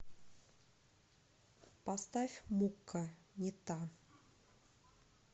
поставь мукка не та